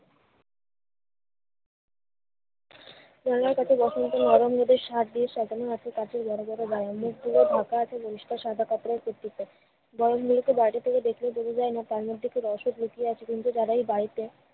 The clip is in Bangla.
জানলার কাছে washroom টি নরম রোদের সাহায্যে সাধারণ মানুষ এর কাছে বড়ো বড়ো garden গুলো ফাঁকা আছে পরিস্কার সাদা কাপড়ে garden গুলোকে বাইরে থেকে দেখলে বোঝা যায় না তার মধ্যে কি রসদ লুকিয়ে আছে কিন্তু তারাই বাড়িতে